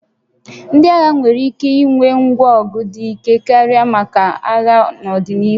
Ndị agha nwere ike ịnwe ngwa ọgụ dị ike karị maka agha n'ọdịnihu